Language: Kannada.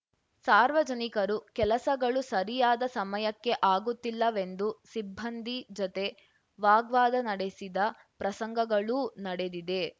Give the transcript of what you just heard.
ಸಾರ್ವಜನಿಕರು ಕೆಲಸಗಳು ಸರಿಯಾದ ಸಮಯಕ್ಕೆ ಆಗುತ್ತಿಲ್ಲವೆಂದು ಸಿಬ್ಬಂದಿ ಜತೆ ವಾಗ್ವಾದ ನಡೆಸಿದ ಪ್ರಸಂಗಗಳೂ ನಡೆದಿದೆ